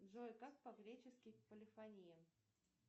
джой как по гречески полифония